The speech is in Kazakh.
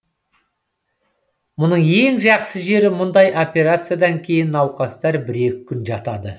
мұның ең жақсы жері мұндай операциядан кейін науқастар бір екі күн жатады